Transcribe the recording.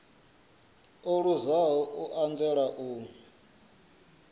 o luzaho u anzela u